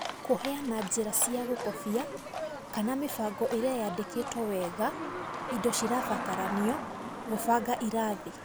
Kũheana njĩra cia gũkobia kana mĩbango ĩrĩa yandĩkĩtwo wega/indo cirabataranio/ gũbanga irathi.